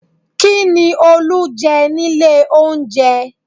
Kí ni Olú jẹ nílé oúnjẹ?